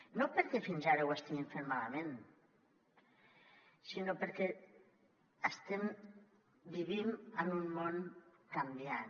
no perquè fins ara ho estiguin fent malament sinó perquè estem vivint en un món canviant